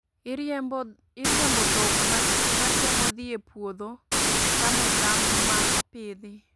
Iriembo dhok matemo dhi e puodho chamo cham ma opidhi